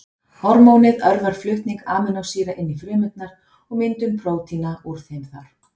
Hormónið örvar flutning amínósýra inn í frumurnar og myndun prótína úr þeim þar.